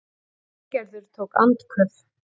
Steingerður tók andköf.